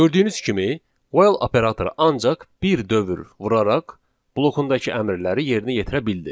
Gördüyünüz kimi 'while' operatoru ancaq bir dövr vuraraq blokundakı əmrləri yerinə yetirə bildi.